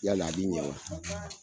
Yan yaa laadi ye wa